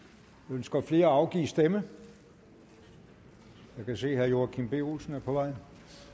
ønsker flere at afgive stemme jeg kan se at herre joachim b olsen er på vej